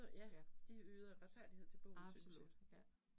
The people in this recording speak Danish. Ja. Absolut ja